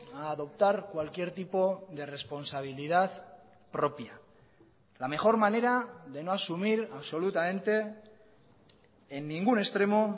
a adoptar cualquier tipo de responsabilidad propia la mejor manera de no asumir absolutamente en ningún extremo